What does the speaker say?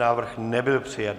Návrh nebyl přijat.